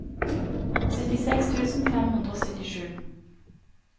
syttiseks tusen fem hundre og syttisju